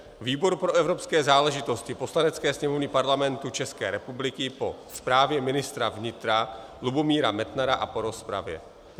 Výbor pro evropské záležitosti Poslanecké sněmovny Parlamentu České republiky po zprávě ministra vnitra Lubomíra Metnara a po rozpravě